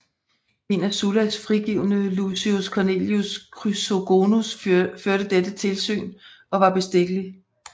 En af Sullas frigivne Lucius Cornelius Chrysogonus førte dette tilsyn og var bestikkelig